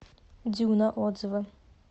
дюна отзывы